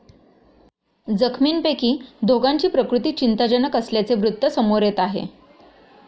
जखमींपैकी दोघांची प्रकृती चिंताजनक असल्याचे वृत्त समोर येत आहे.